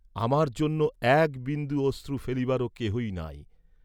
আমার জন্য একবিন্দু অশ্রু ফেলিবারও কেহই নাই।